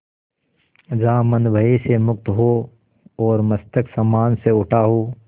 जहाँ मन भय से मुक्त हो और मस्तक सम्मान से उठा हो